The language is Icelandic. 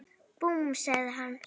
Búmm! sagði hann.